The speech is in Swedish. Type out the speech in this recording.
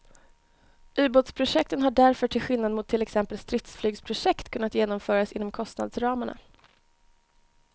Ubåtsprojekten har därför till skillnad mot till exempel stridsflygsprojekt kunnat genomföras inom kostnadsramarna.